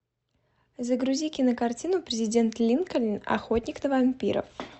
загрузи кинокартину президент линкольн охотник на вампиров